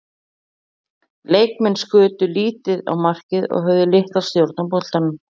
Leikmenn skutu lítið á markið og höfðu litla stjórn á boltanum.